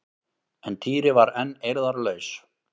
En Týri var enn eirðarlaus.